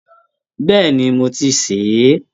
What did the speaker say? Bẹ́ẹ̀ni, mo ti ṣẹ̀ é